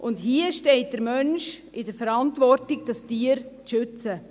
Hier steht der Mensch in der Verantwortung, das Tier zu schützen.